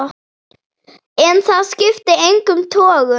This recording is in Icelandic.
En það skipti engum togum.